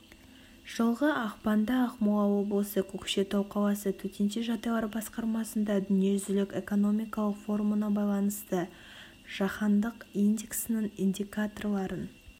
жылғы ақпанда ақмола облысы көкшетау қаласы төтенше жағдайлар басқармасында дүниежүзілік экономикалық форумына байланысты жаһандық индексінің индикаторларын